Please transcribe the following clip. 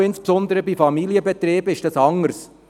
Bei KMU, insbesondere bei Familienbetrieben, ist dies anders.